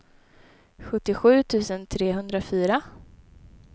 sjuttiosju tusen trehundrafyra